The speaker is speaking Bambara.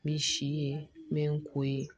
Min si ye min ko ye